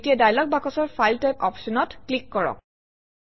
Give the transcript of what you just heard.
এতিয়া ডায়লগ বাকচৰ file type অপশ্যনত ক্লিক কৰক